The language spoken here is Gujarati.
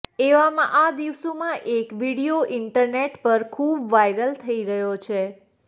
એવામાં આ દિવસોમાં એક વિડીઓ ઈન્ટરનેટ પર ખુબ વાયરલ થઇ રહ્યો છે